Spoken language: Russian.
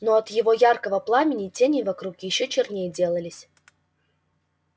но от его яркого пламени тени вокруг ещё черней делались